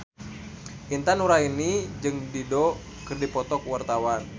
Intan Nuraini jeung Dido keur dipoto ku wartawan